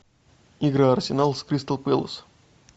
игра арсенал с кристал пэлас